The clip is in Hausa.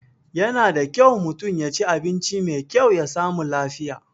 Yana da kyau mutum yaci abinci mai kyau ya sami lafiya